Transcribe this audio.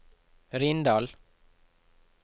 Rindal